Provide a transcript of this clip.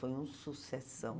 Foi um sucessão.